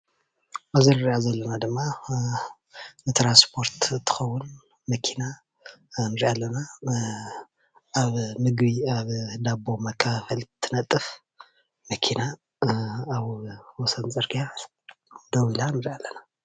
አብዚ እንሪአ ዘለና ድማ ንትራንስፖርት እትኸዉን መኪና ንሪኣ አለና አብ ምግቢ ኣብ ዳቦ መከፋፈሊ እትነጥፍ መኪና አብ ወሰን ፅርግያ ደው ኢላ ንሪኣ ኣለና ።